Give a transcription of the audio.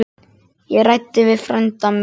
Ég ræddi við frænda minn.